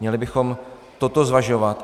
Měli bychom toto zvažovat.